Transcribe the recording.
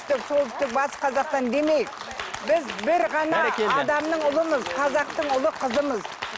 солтүстік батыс қазақстан демейік біз бір ғана адамның ұлымыз қазақтың ұлы қызымыз